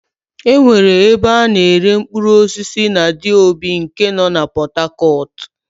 E nwere ebe a na-ere mkpụrụosisi na Diobu nke nọ na Pọtakọtụ.